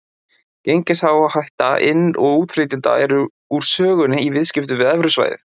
Gengisáhætta inn- og útflytjenda er úr sögunni í viðskiptum við evrusvæðið.